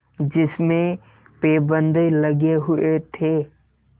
जिसमें पैबंद लगे हुए थे